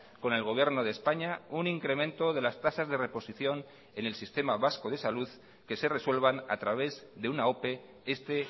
con el gobierno de españa un incremento de las tasas de reposición en el sistema vasco de salud que se resuelvan a través de una ope este